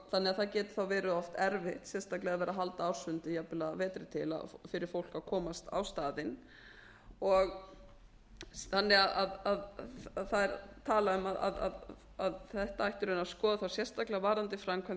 það getur því verið oft erfitt sérstaklega að vera að halda ársfundi jafnvel að vetri til fyrir fólk að komast á staðinn þannig að það er talað um að þetta ætti í raun að skoða þá sérstaklega varðandi framkvæmd